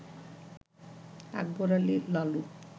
Akbar Ali Lalu